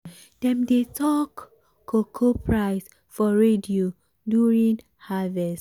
dem dey talk cocoa price for radio during harvest.